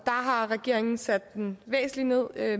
har regeringen sat den væsentligt ned